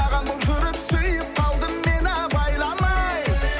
ағаң болып жүріп сүйіп қалдым мен абайламай